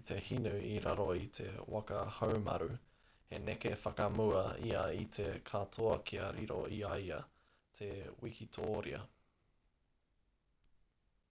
i te hinu i raro i te waka haumaru he neke whakamua ia i te katoa kia riro i a ia te wikitōria